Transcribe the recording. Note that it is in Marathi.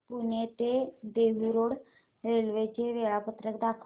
पुणे ते देहु रोड रेल्वे चे वेळापत्रक दाखव